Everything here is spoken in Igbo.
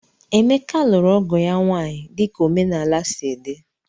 Emeka lụrụ ọgo ya nwaanyị dika omenala sị di